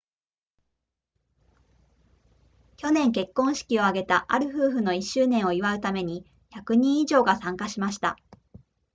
昨年結婚式を挙げたある夫婦の1周年を祝うために100人以上が参加しました